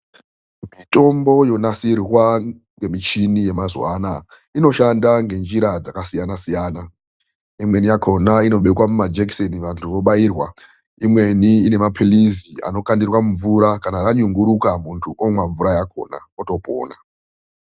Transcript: Mitombo yonasirwa ngemichini yemazuwa anaya, inoshanda ngenjira dzakasiyana siyana, imweni yakhona inobekwa mumajekiseni vantu vobairwa, imweni inemaphirizi anokandirwa mumvura, kana ranyunguduka muntu omwa mvura yakhona otopona.